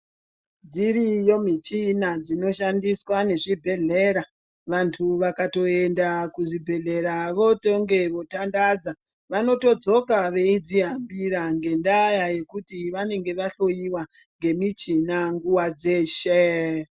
Dziriyo michina dzinoshandiswa nezvibhedhlera. Vanthu vakatoenda kuzvibhedhlera votonge votandandadza vanotodzoka veidzihambira ngendaa yekuti vanonge vahloiwa ngemichina nguwa dzeshe.